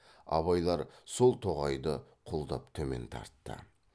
абайлар сол тоғайды құлдап төмен тартты